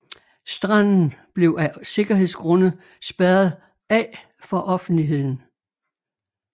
Stranden blev af sikkerhedsgrunde spærret af for offentligheden